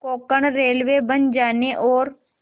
Konkan railway बन जाने और